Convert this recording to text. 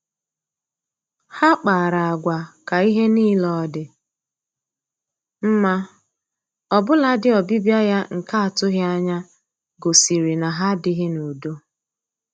Ha kpara agwa ka ihe niile ọ dị mma, ọbụladị ọbịbịa ya nke atụghị anya gosiri na ha adịghị n'udo